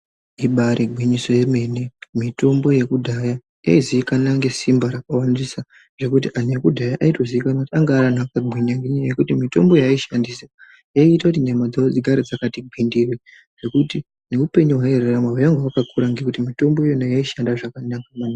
Ibaaari gwinyiso yemene mitombo yekudhaya yaizikanwa ngesimba rakawandisa ngekuti anthu ekudhaya aitozikanwa kuti anga ari anthu akagwinya ngekuti mitombo yaaishandisa yaiita kuti nyama dzao dzirambe dzakati gwindiri zvekuti neupenyu hwaairarama hwainga hwakakura ngekuti mitombo yona iyoyo yaishanda zvakanaka maningi.